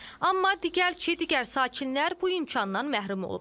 Amma deyirlər ki, digər sakinlər bu imkandan məhrum olub.